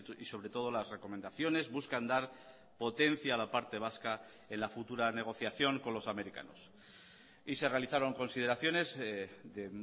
y sobre todo las recomendaciones buscan dar potencia a la parte vasca en la futura negociación con los americanos y se realizaron consideraciones de